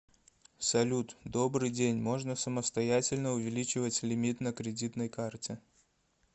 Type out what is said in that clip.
салют добрый день можно самостоятельно увеличивать лимит на кредитной карте